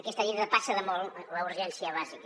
aquesta llei depassa de molt la urgència bàsica